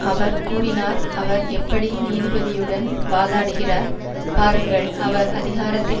அவர் கூறினார் அவர் எப்படி நீதிபதியுடன் வாதாடுகிறார் பாருங்கள் அவர் அதிகாரத்தில்